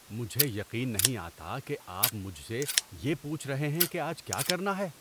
مجھے یقین نہیں آتا کہ آپ مجھ سے یہ پوچھ رہے ہیں کہ آج کیا کرنا ہے۔